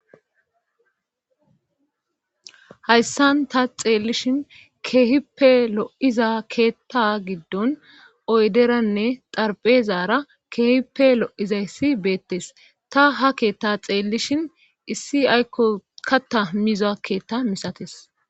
hayssan ta xeellishin keehippe lo'iza keetta giddon oyderanne xarpezaara keehippe lo'iza issi beettes ta ha keetta xeellishin issi aykko katta miza keetta misatees